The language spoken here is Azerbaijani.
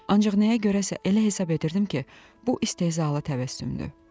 Ancaq nəyə görəsə elə hesab edirdim ki, bu istehzalı təbəssümdür.